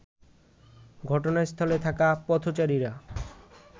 ঘটনাস্থলে থাকা পথচারীরা